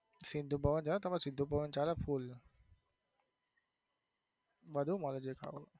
સિંધુ ભવન ગયા તમે સિંધુ ભવન ચાલે full બધું મળે જે ખાવું.